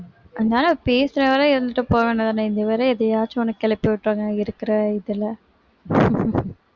அந்தாளு பேசுற வரை இருந்துட்டு போக வேண்டியதுதானே இதுவேற எதையாச்சும் ஒண்ணு கிளப்பி விட்டுருவாங்க இருக்கிற இதுல